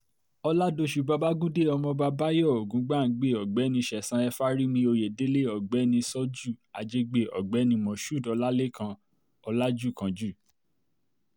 oládọ̀sù babagundé ọmọọba bayọ ògúngbàngbẹ ògbẹ́ni ṣẹ̀san e pharimi oyèdélé ọ̀gbẹ́ni ṣojú ajégbè ọ̀gbẹ́ni moshood ọlálẹ́kan ọ̀làjúkánjú